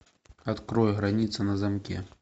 открой граница на замке